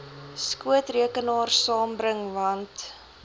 skootrekenaar saambring want